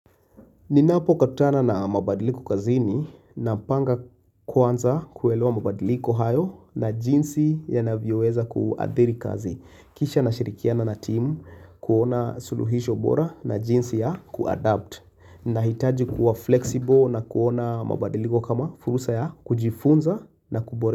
Ninapo kutana na mabadiliko kazini, napanga kwanza kuwelewa mabadiliko hayo na jinsi yanavyo weza kuadhiri kazi. Kisha na shirikiana na timu kuona suluhisho bora na jinsi ya kuadapt. Nahitaji kuwa flexible na kuona mabadiliko kama furusa ya kujifunza na kubore.